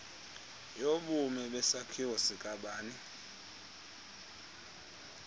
yobume besakhiwo sikabani